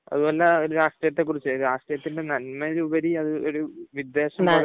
അതുപോലെ രാഷ്ട്രീയത്തെക്കുറിച്ച് രാഷ്ട്രീയത്തിന് നന്മയിൽ ഉപരി അത് ഒരു വിദ്വേഷം പുല,